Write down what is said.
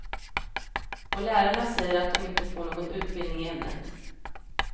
Och lärarna säger att de inte får någon utbildning i ämnet.